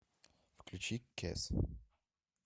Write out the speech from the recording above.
включи кес